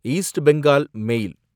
east Bengal மேல்